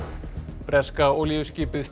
breska olíuskipið